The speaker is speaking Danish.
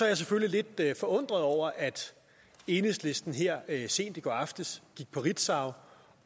jeg selvfølgelig lidt forundret over at enhedslisten her sent i går aftes gik på ritzau